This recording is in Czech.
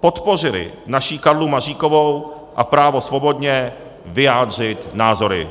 podpořili naši Karlu Maříkovou a právo svobodně vyjádřit názory.